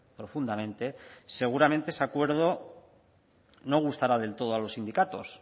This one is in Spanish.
profundamente seguramente ese acuerdo no gustará del todo a los sindicatos